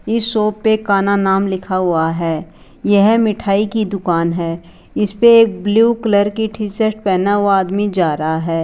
इस शॉप पे कान्हा नाम लिखा हुआ है यह मिठाई की दुकान है इस पे एक ब्लू कलर की टी शर्ट पहना हुआ आदमी जा रहा है।